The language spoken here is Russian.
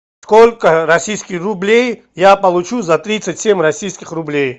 сколько российских рублей я получу за тридцать семь российских рублей